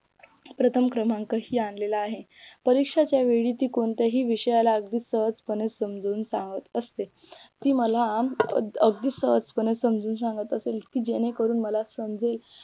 प्रथम क्रमांक ही आणलेला आहे परीक्षाच्या वेळी ती कोणत्याही विषयाला अगदी सहजपणे समजवून सांगत असते ती मला अगदी अगदी सहजपणे समजून सांगत असेल की जेणेकरून मला समजेल